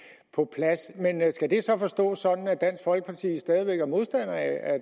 på plads men skal det så forstås sådan at dansk folkeparti stadig væk er modstander af at